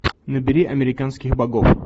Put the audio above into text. набери американских богов